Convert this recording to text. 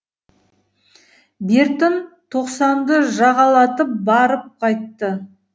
бертін тоқсанды жағалатып барып қайтты